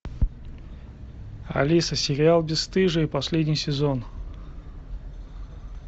алиса сериал бесстыжие последний сезон